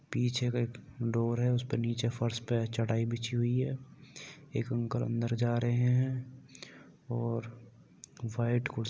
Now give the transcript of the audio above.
पीछे का एक डूर है। उस पे नीचे फर्श पर चटाई बिछी हुई है। एक अंकल अंदर जा रहे हैं और व्हाइट कूर --